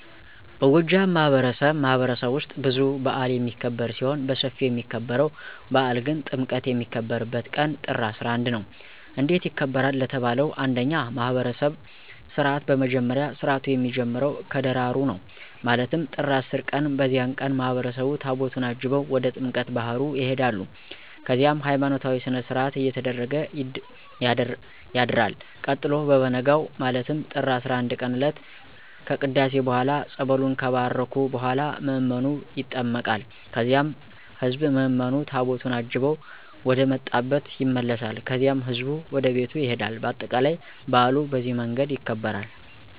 በጎጃም ማህበረሰብማህበረሰብ ውስጥ ብዙ በአል የሚክብር ሲሆን በስፊው የሚከበርው በአል ግን ጥምቀት የሚከበርበት ቀን ጥር 11 ነው። እንዴት ይከበራል ለተባለው እንደኛ ማህብረሰብ ስርዓት በመጀመሪያ ስርአቱ የሚጀምረው ከደራሩ ነው ማለትም ጥር 10 ቀን በዚያን ቀን ማህበረሰቡ ታቦታቱን አጅበው ወደ ጥምቀተ ባህር ይሆዳሉ ከዚያም ሀይማኖታዊ ስነስርአት እየተደረገ ያድርል ቀጥሎ በቨነጋው ማለትም ጥር 11ቀን እለት ከቅዳሴ በኋላ ፀበሉን ከባረኩ በኋላ ምዕመኑ ይጠመቃል ከዚያም ህዝብ ምዕምኑ ታቦቱን አጅበው ወደመጣብ ይመለሳል ከዚያም ህዝቡ ወደቤቱ ይሄዳል በአጠቃላይ በአሉ በዚህ መንገድ ይከበራል።